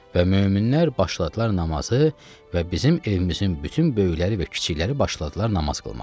Və möminlər başladılar namazı və bizim evimizin bütün böyükləri və kiçikləri başladılar namaz qılmağa.